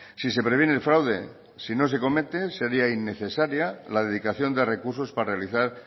si se previene el fraude si no se comete sería innecesaria la dedicación de recursos para realizar